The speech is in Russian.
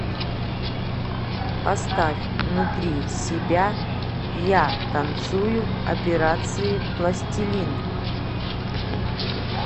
поставь внутри себя я танцую операции пластилин